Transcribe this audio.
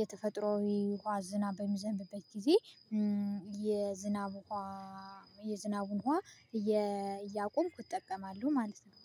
የተፈጥሮው ዉሃ ዝናብ በሚዘንብበት ጊዜ የዝናብ የዝናቡን እያቆምኩ እጠቀማለሁ ማለት ነው